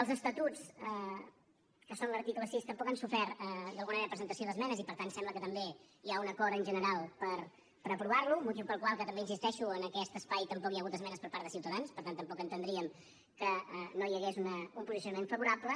els estatuts que són l’article sis tampoc han sofert d’alguna manera presentació d’esmenes i per tant sembla que també hi ha un acord en general per aprovar lo motiu pel qual que també hi insisteixo en aquest espai tampoc hi ha hagut esmenes per part de ciutadans per tant tampoc entendríem que no hi hagués un posicionament favorable